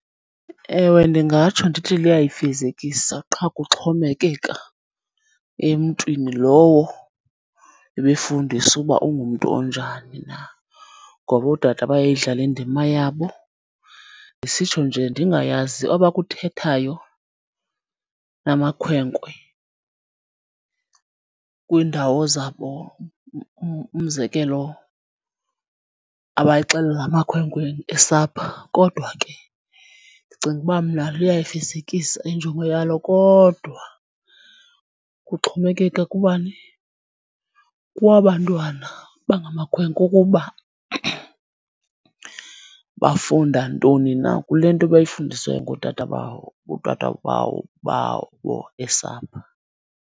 Ewe ndingatsho ndithi luyayifezekisa qha kuxhomekeka emntwini lowo ebefundisa uba ungumntu onjani na, ngoba otata bayayidlala indima yabo. Ndisitsho nje ndingayazi abakuthethayo namakhwenkwe kwiindawo zabo, umzekelo abayixelela amakhwenkwe esapha, kodwa ke ndicinga uba mna luyayifezekisa injongo yalo. Kodwa kuxhomekeka kubani, kwabantwana bangamakhwenkwe ukuba bafunda ntoni na kule nto bayifundisiweyo ngootata babo esapha.